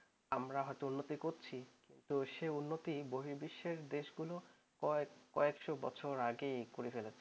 আমরা হয়তো উন্নতি করছি কিন্তু সেই উন্নতি বহির্বিশ্বে দেশগুলো কয়েকশো বছর আগে করে ফেলেছে